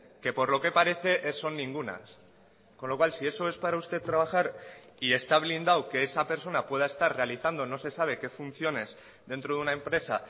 que por lo que parece son ningunas con lo cual si eso es para usted trabajar y está blindado que esa persona pueda estar realizando no se sabe qué funciones dentro de una empresa